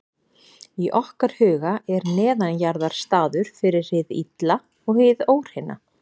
í okkar huga er neðanjarðar staður fyrir hið illa og hið óhreina